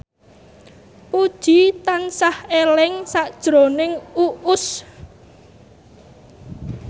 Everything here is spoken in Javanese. Puji tansah eling sakjroning Uus